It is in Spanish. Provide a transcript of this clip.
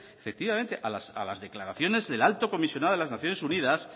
efectivamente a las declaraciones del alto comisionado de las naciones unidas